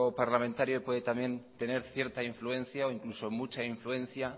parlamentario puede también tener cierta influencia o incluso mucha influencia